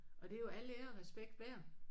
Og det er jo alt ære og respekt værd